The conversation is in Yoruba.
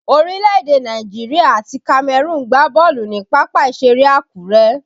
Orílẹ̀ èdè Nàìjíríà àti Cameroon gbá bọ́ọ̀lù ni pápá ìṣeré Akure